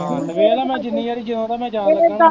ਤੇ ਵੇਖਲਾ ਮੈਂ ਜਿੰਨੀ ਵਾਰ ਜਿਓਂਦਾਂ ਮੈਂ ਜਾਗ ਕੇ ਕਹਿਣਾ ਮੈਨੀ